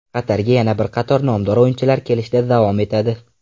Qatarga yana bir qator nomdor o‘yinchilar kelishda davom etadi.